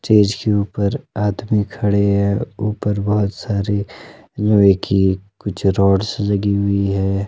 Stage के ऊपर आदमी खड़े हैं। ऊपर बहोत सारी लोहे की कुछ रॉड्स लगी हुई है।